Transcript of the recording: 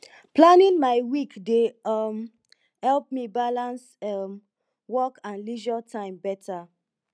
planning my week dey um help me balance um work and leisure time beta